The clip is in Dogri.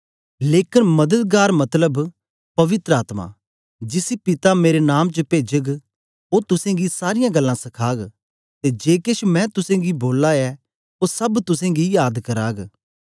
लेकन मददगार मतलब पवित्र आत्मा जिसी पिता मेरे नाम च भेजग ओ तुसेंगी सारीयां गल्लां सखाग ते जे केछ मैं तुसेंगी बोला ऐ ओ सब तुसेंगी याद कराग